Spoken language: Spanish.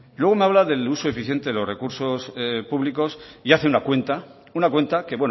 luego me habla del uso eficiente de los recursos públicos y hace una cuenta una cuenta que